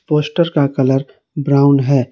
Poster का colour brown है।